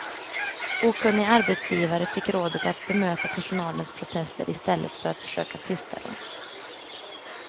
Okunniga arbetsgivare fick rådet att bemöta personalens protester i stället för att försöka tysta dem.